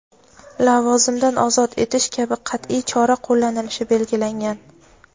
lavozimdan ozod etish kabi qat’iy chora qo‘llanilishi belgilangan.